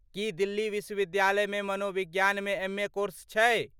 की दिल्ली विश्वविद्यालय में मनोविज्ञान मे एम ए कोर्स छै?